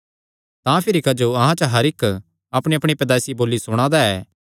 तां भिरी क्जो अहां च हर इक्क अपणीअपणी पैदाईसी बोली सुणा दा ऐ